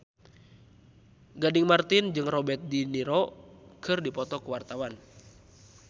Gading Marten jeung Robert de Niro keur dipoto ku wartawan